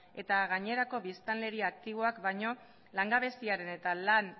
eta gainerako biztanleri aktiboak baino langabeziaren eta lan